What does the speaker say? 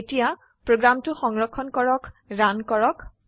এতিয়া প্ৰোগ্ৰামটো সংৰক্ষণ কৰক ৰান কৰক